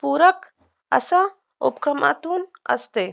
पूरक अशा उपकरणातून असते